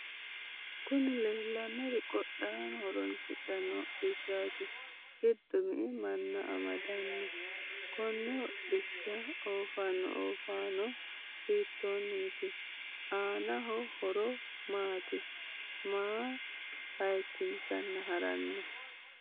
kuni leellannori qodhaano horoonsidhanno hodhishaati. giddo me"e manna amaddanno? konne hodhishsha oofaano ooffannohu hiitonniti? aanno horo maati? maa hayikkinseenna harranno?